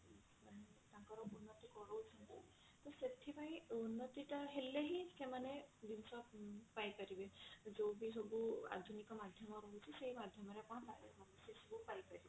ସେଥିପାଇଁ ଇନ୍ନତି ଟା ହେଲେ ହିଁ ଗାଁରେ ସେମାନେ ସମସ୍ତ ସୁବିଧା ପାଇପାରିବେ ଯୋଉଠି ସବୁ ଆଧୁନିକ